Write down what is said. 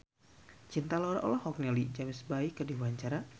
Cinta Laura olohok ningali James Bay keur diwawancara